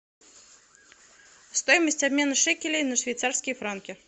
стоимость обмена шекелей на швейцарские франки